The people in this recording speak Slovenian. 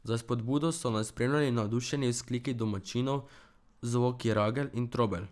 Za spodbudo so nas spremljali navdušeni vzkliki domačinov, zvoki ragelj in trobelj.